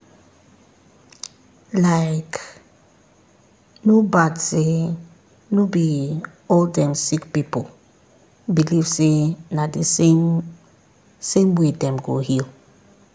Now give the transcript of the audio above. likee no bad say no be all dem sick pipu believe say na the same same way dem go heal.